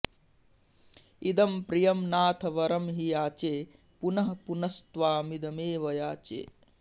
इदं प्रियं नाथ वरं हि याचे पुनःपुनस्त्वामिदमेव याचे